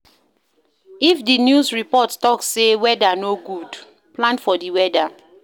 If di news report talk sey weather no go good, plan for di weather